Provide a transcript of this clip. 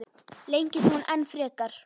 Lengist hún enn frekar?